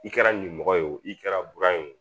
I kɛra nimɔgɔ ye wo i kɛra bura ye wo